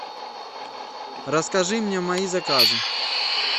расскажи мне мои заказы